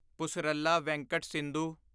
Pusarla Venkata Sindhu